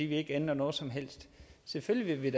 vil ændre noget som helst selvfølgelig vil